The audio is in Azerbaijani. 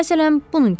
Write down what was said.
Məsələn, bunun kimi.